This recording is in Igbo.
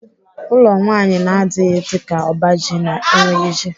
Ụlọ nwaanyị na-adịghị dịka ọba ji na-enweghị ji.